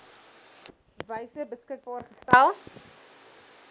wyse beskikbaar gestel